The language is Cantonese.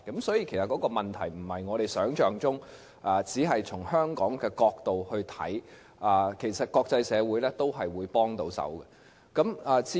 所以，問題不是我們想象中般只是從香港的角度去看，其實國際社會也會給予幫助。